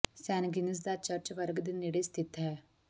ਸੈਨ Gines ਦਾ church ਵਰਗ ਦੇ ਨੇੜੇ ਸਥਿਤ ਹੈ